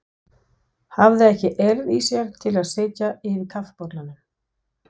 Hafði ekki eirð í sér til að sitja yfir kaffibollanum.